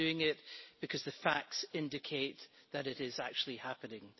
We are doing so because the facts indicate that it is actually happening.